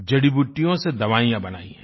जड़ीबूटियों से दवाइयाँ बनाई है